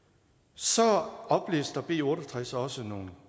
så oplister b otte og tres også nogle